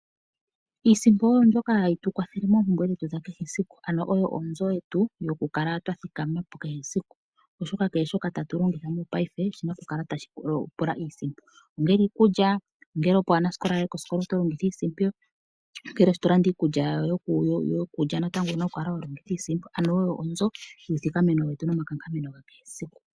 Iisimpo oyo mbyoka ha yi tu kwathele moompumbwe dha kehe esiku, ano oyo onzo yetu yo ku kala twa thikamapo kee siku. Oshoka kehe shoka ta tu longitha mopaife, oshina oku kala ta shi pula iisimpo. Ongele iikulya, ongele opo aanasikola yaye koskola oto longitha iisimpo, ongele shi to landa iikulya yawo owu na oku kala to longitha iisimpo. Ano oyo onzo yiithikameno nomakankameno getu ga kehe esiku.